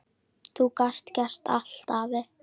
Þú gast gert allt, afi.